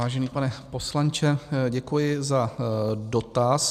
Vážený pane poslanče, děkuji za dotaz.